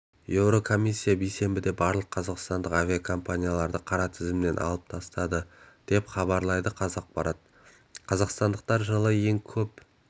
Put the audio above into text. еурокомиссия бейсенбіде барлық қазақстандық авиакомпанияларды қара тізімнен алып тастады деп хабарлайды қазақпарат қазақстандықтар жылы ең көп